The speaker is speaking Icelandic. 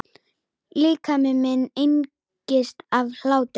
Líkami minn engist af hlátri.